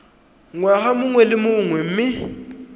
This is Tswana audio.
ngwaga mongwe le mongwe mme